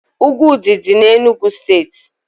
Úgwù Ụdị dị n'Enugu steeti